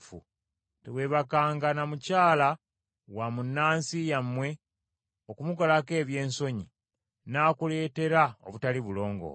“ ‘Teweebakanga na mukyala wa munnansi yammwe okumukolako ebyensonyi, n’akuleetera obutali bulongoofu.